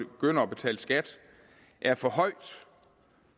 begynder at betale skat er for højt